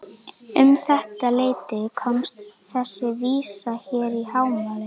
Um þetta leyti komst þessi vísa hér í hámæli